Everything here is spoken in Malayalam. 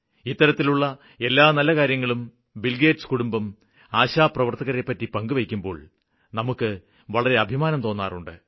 ഇത്തരത്തിലുള്ള എല്ലാ നല്ല കാര്യങ്ങളും ബില്ഗേറ്റ്സ് കുടുംബം ആശാപ്രവര്ത്തകരെപ്പറ്റി പങ്കുവയ്ക്കുമ്പോള് നമുക്ക് വളരെ അഭിമാനം തോന്നാറുണ്ട്